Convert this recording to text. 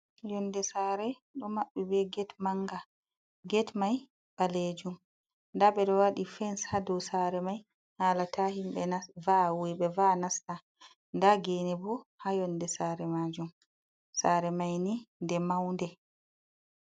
Yonde sare ɗo maɓɓi be get manga. Get mai ɓaleejum, nda ɓe ɗo waɗi fens ha dou sare mai hala ta himɓe nas va'a, wuiɓe va'a nasta. Nda gene bo ha yonde saare maajum. Sare mai ni nde maunde.